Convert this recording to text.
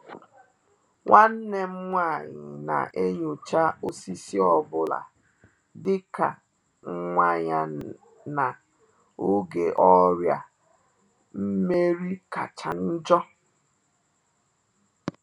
Nwannem nwa-anyị na-enyocha osisi ọ bụla dị ka nwa ya na-oge ọrịa nmeri kacha njo